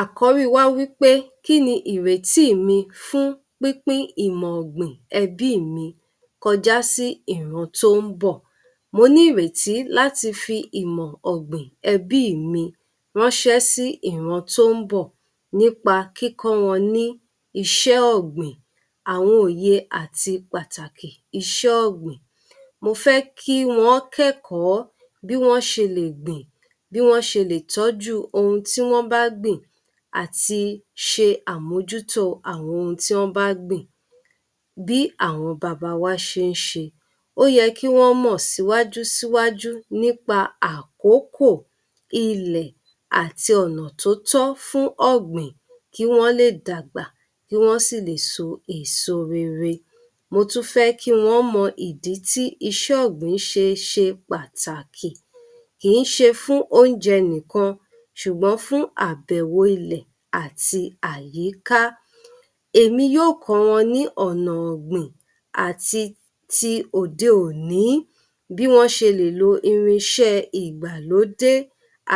Àkọ́rí wa wípé, kíni ìrètí mi fún pípín ìmọ̀ ọ̀gbìn ẹbí mí kọjá sí ìran tó ń bọ̀? Mo ní ìrètí láti fi ìmọ̀ ọ̀gbìn ẹbí mi ránṣẹ́ sí ìran tó ń bọ̀ nípa kíkọ́ wọ́n ní isẹ́ ọ̀gbìn, àwọn òye àti pàtàkì isẹ́ ọ̀gbìn. Mo fẹ́ kí wọn kẹ́kọ̀ọ́ bí wọ́n ṣe lè gbìn bí wọ́n ṣe lè tọ́jú ohun tí wọ́n bá gbìn ati i ṣe àmójútó àwọn ohun tí an bá gbìn bí àwọn baba wa ṣe ń ṣe. Ó yẹ kí wọ́n mò síwájú nipa àkókò, ilẹ̀ àti ọ̀nà tótó́ fún ọ̀gbìn kí wọ́n lè dàgbà, kí wọ́n sì lè so èso rere. Mo tun fẹ́ kí wọn mọ ìdí tí iṣẹ́ ọ̀gbìn ṣe pàtàkì, kì í ṣe fún oúnjẹ nìkan ṣùgbọ́n fún àbẹ̀wọ̀ ilẹ̀ àti àyíká. Èmi yóò kọ́ wọn ní ọ̀nà ọ̀gbìn àti ti òde òní, bí wọ́n ṣe lè lo irinṣẹ́ ẹ ìgbàlódé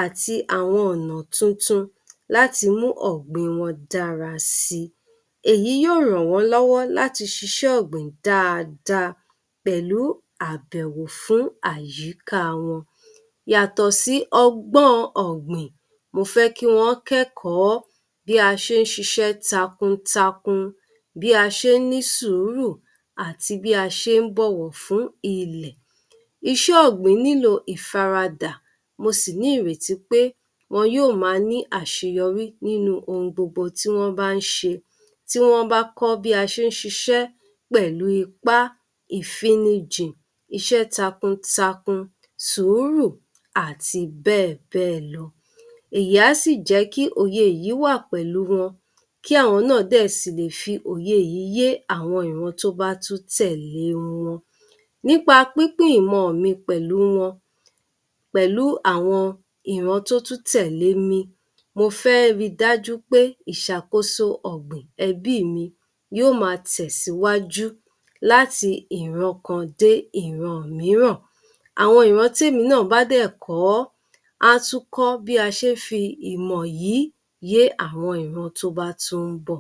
àti àwọn ọ̀nà tuntun láti mú ọ̀gbìn wọn dára si. Èyí yóò ràn wọ́n lọ́wọ́ láti ṣíṣe ọ̀gbìn dáadáa pẹ̀lú àbẹ̀wò fún àyíká wọn. Yàtọ̀ sí ọgbọ́n ọ̀gbìn, mo fẹ́ kí wọn kẹ́kọ̀ọ́ bí a ṣe ń ṣíṣe takuntakun, bí a ṣe ń ní sùúrù, àti bí a ṣe ń bọ̀wọ̀ fún ilẹ̀. Iṣé ọ̀gbìn nílò ìfaradà, mo sì ní ìrètí pé wọn yóò ma ní àṣeyọrí nínú ohun gbogbo tí wọn bá ń se. Tí wọ́n bá kọ́ bí a ṣe ń ṣíṣe pẹ̀lu ipá, ìfinnijìn, isẹ́ takuntakun, sùúrù àti bẹ́ẹ̀ bẹ́ẹ̀ lọ. Èyí á sì jẹ́ kí òye yìí wá pẹ̀lú wọn kí àwọn náà dẹ̀ sí lè fi òye yìí yé àwọn ìran tó bá tún tẹ̀lé wọn. Nípa pípín ìmọ mi pẹ̀lú wọn, pẹ̀lú àwọn ìran tó tún tẹ̀lé mi, mo fẹ́ ri dájú pé ìṣàkóso ọ̀gbìn ẹbí mi yóò má a tẹ̀síwájú láti ìran kan dé ìran mírànm àwọn ìran tí èmi náà bá dẹ̀ kòọ́, á tún kọ́ bí a ṣe ń fi ìmọ̀ yìí yé àwọn ìran tó bá tún ń bọ̀.